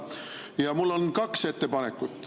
Ja mul on kaks ettepanekut.